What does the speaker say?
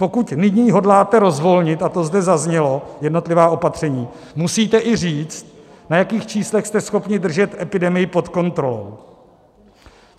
Pokud nyní hodláte rozvolnit, a to zde zaznělo, jednotlivá opatření, musíte i říct, na jakých číslech jste schopni držet epidemii pod kontrolou.